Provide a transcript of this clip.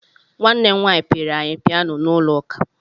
Nwanne m nwaanyị pịịrị anyị piyano n'ụlọ ụka.